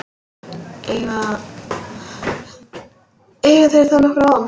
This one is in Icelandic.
Eiga þeir þá nokkra von.